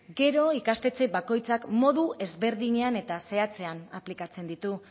gero ikastetxe bakoitzak modu ezberdinean eta zehatzean aplikatzen ditu